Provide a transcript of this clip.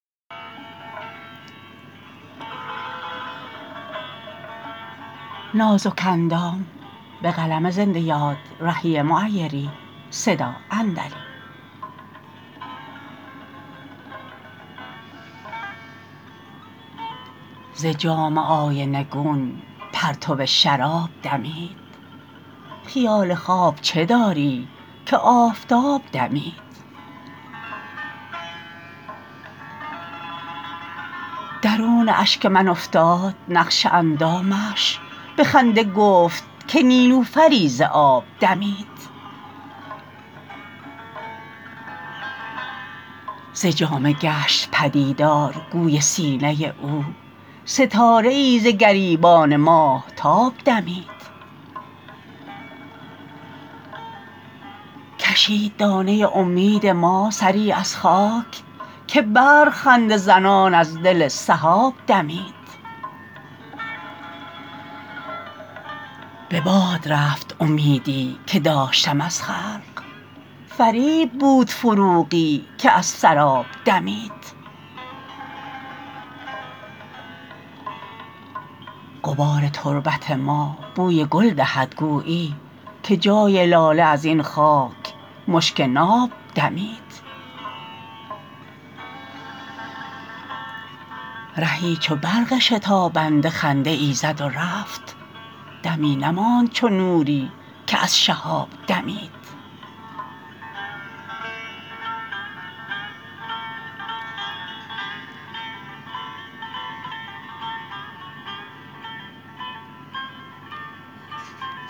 ز جام آینه گون پرتو شراب دمید خیال خواب چه داری که آفتاب دمید درون اشک من افتاد نقش اندامش به خنده گفت که نیلوفری ز آب دمید ز جامه گشت پدیدار گوی سینه او ستاره ای ز گریبان ماهتاب دمید کشید دانه امید ما سری از خاک که برق خنده زنان از دل سحاب دمید به باد رفت امیدی که داشتم از خلق فریب بود فروغی که از سراب دمید غبار تربت ما بوی گل دهد گویی که جای لاله ازین خاک مشک ناب دمید رهی چو برق شتابنده خنده ای زد و رفت دمی نماند چو نوری که از شهاب دمید